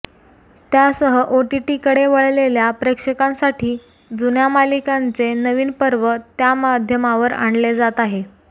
त्यासह ओटीटीकडे वळलेल्या प्रेक्षकांसाठी जुन्या मालिकांचे नवीन पर्व त्या माध्यमावर आणले जात आहेत